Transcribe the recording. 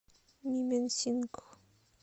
мименсингх